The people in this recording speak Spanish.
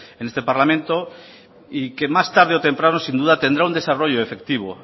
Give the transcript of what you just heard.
en este parlamento y que más tarde o temprano sin duda tendrá un desarrollo efectivo